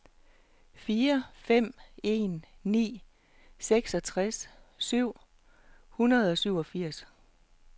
fire fem en ni seksogtres syv hundrede og syvogfirs